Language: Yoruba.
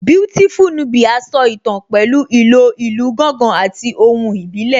Beautiful Nubia so ìtàn pẹ̀lú ìlò ìlù gángan àti ohùn ìbílẹ̀